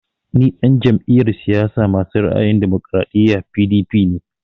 Ni ɗan jam'iyar siyasa masu ra'ayin damokaraɗiya (PDP) ne